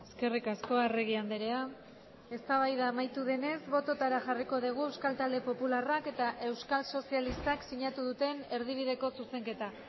eskerrik asko arregi andrea eztabaida amaitu denez bototara jarriko dugu euskal talde popularrak eta euskal sozialistak sinatu duten erdibideko zuzenketa